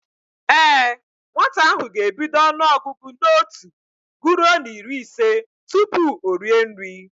Ee, nwata ahụ ga-ebido ọnụọgụgụ n'otu guruo n'iri ise tupu o rie nri